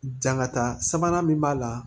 Jankata sabanan min b'a la